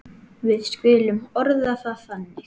Við skulum orða það þannig.